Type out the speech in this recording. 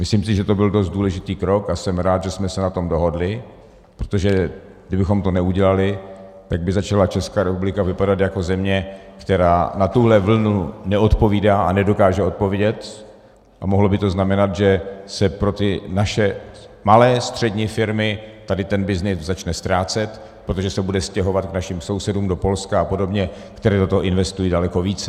Myslím si, že to byl dost důležitý krok, a jsem rád, že jsme se na tom dohodli, protože kdybychom to neudělali, tak by začala Česká republika vypadat jako země, která na tuhle vlnu neodpovídá a nedokáže odpovědět, a mohlo by to znamenat, že se pro ty naše malé střední firmy tady ten byznys začne ztrácet, protože se bude stěhovat k našim sousedům do Polska a podobně, kteří do toho investují daleko více.